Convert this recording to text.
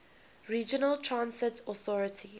regional transit authority